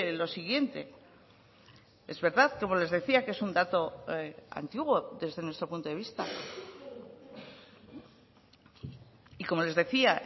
lo siguiente es verdad como les decía que es un dato antiguo desde nuestro punto de vista y como les decía